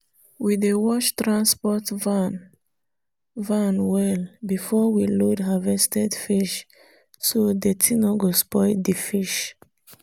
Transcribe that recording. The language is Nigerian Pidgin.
we dey wash transport van van well before we load harvested fish so dirty no go spoil di fish